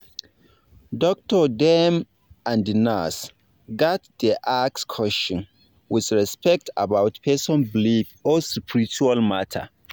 doctor dem and nurse gats dey ask question with respect about person belief or spiritual matter